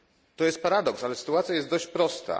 To jest paradoks, ale sytuacja jest dość prosta.